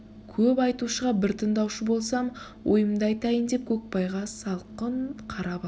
көп айтушыға бір тындаушы болсам ойымды айтайын деп көкбайға салқын қарап алды